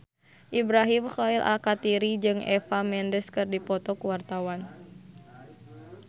Ibrahim Khalil Alkatiri jeung Eva Mendes keur dipoto ku wartawan